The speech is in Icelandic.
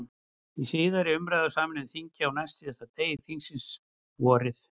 Í síðari umræðu í sameinu þingi, á næstsíðasta degi þingsins, vorið